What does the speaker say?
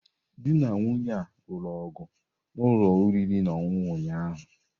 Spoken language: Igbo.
Di na nwunye a lụrụ ọgụ na ụlọ oriri na ọṅụṅụ ụnyaahụ.